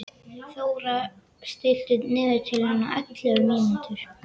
Þórar, stilltu niðurteljara á ellefu mínútur.